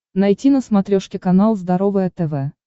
найти на смотрешке канал здоровое тв